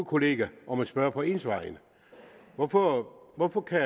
kollega om at spørge på ens vegne hvorfor hvorfor kan